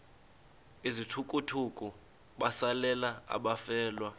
izithukuthuku besalela abafelwa